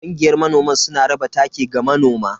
Kungiyar manoman suna raba taki ga manoma.